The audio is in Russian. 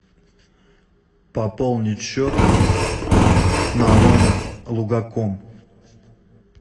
пополнить счет на номер лугаком